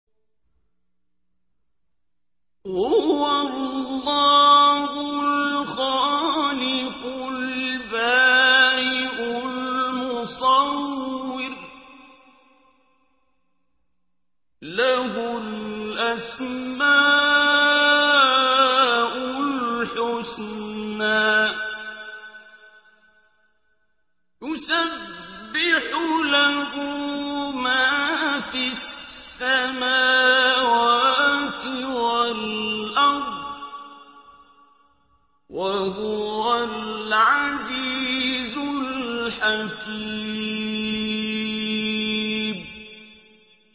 هُوَ اللَّهُ الْخَالِقُ الْبَارِئُ الْمُصَوِّرُ ۖ لَهُ الْأَسْمَاءُ الْحُسْنَىٰ ۚ يُسَبِّحُ لَهُ مَا فِي السَّمَاوَاتِ وَالْأَرْضِ ۖ وَهُوَ الْعَزِيزُ الْحَكِيمُ